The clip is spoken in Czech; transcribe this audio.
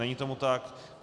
Není tomu tak.